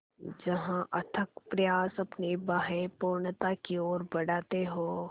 जहाँ अथक प्रयास अपनी बाहें पूर्णता की ओर बढातें हो